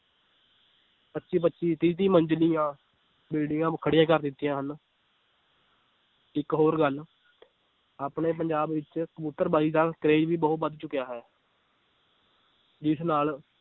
ਪੱਚੀ ਪੱਚੀ ਤੀਹ ਤੀਹ ਮੰਜਿਲੀਆਂ ਬਿਲਡਿੰਗਾਂ ਖੜੀਆਂ ਕਰ ਦਿੱਤੀਆਂ ਹਨ ਇੱਕ ਹੋਰ ਗੱਲ ਆਪਣੇ ਪੰਜਾਬ ਵਿੱਚ ਕਬੁਤਰ ਬਾਜ਼ੀ ਦਾ ਕਰੇਜ ਵੀ ਬਹੁਤ ਵੱਧ ਚੁੱਕਿਆ ਹੈ ਜਿਸ ਨਾਲ